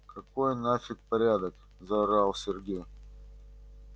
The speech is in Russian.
какой нафиг порядок заорал сергей